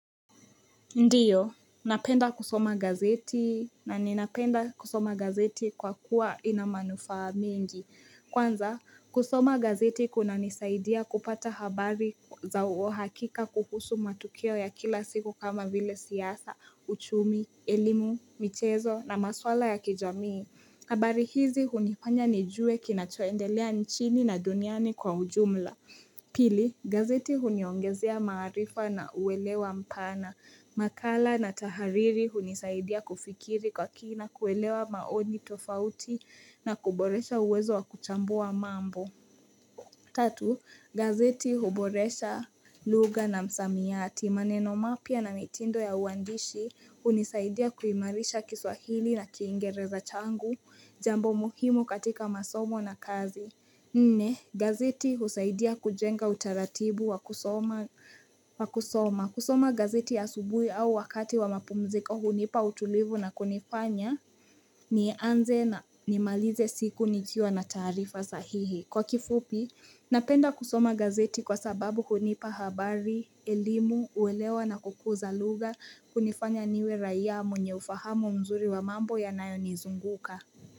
Ndiyo, napenda kusoma gazeti na ninapenda kusoma gazeti kwa kuwa inamanufaa mingi. Kwanza, kusoma gazeti kuna nisaidia kupata habari za uo hakika kuhusu matukio ya kila siku kama vile siyasa, uchumi, elimu, michezo na maswala ya kijamii. Habari hizi hunipanya ni juwe kinachoendelea nchini na duniani kwa ujumla. Pili, gazeti huniongezea maharifa na uwelewa mpana. Makala na tahariri hunisaidia kufikiri kwa kina kuwelewa maoni tofauti na kuboresha uwezo wa kuchambua mambo. Tatu, gazeti huboresha luga na msamiyati. Maneno mapya na mitindo ya uandishi hunisaidia kuimarisha kiswahili na kiingereza changu, jambo muhimu katika masomo na kazi. Nne gazeti husaidia kujenga utaratibu wa kusoma wa kusoma kusoma gazeti asubuhi au wakati wa mapumziko hunipa utulivu na kunifanya ni anze na nimalize siku nikiwa na tarifa sahihi Kwa kifupi, napenda kusoma gazeti kwa sababu hunipa habari, elimu, uwelewa na kukuza luga kunifanya niwe raia mwenye ufahamu mzuri wa mambo ya nayo nizunguka.